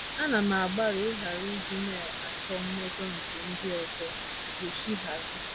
“ Ana m agbalị ịghara ịdị na - achọ mmejọ... nke ndị ọzọ. ” Yoshiharu